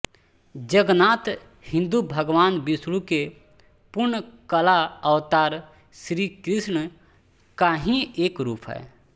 जगन्नाथ हिन्दू भगवान विष्णु के पूर्ण कला अवतार श्रीकृष्ण का ही एक रूप हैं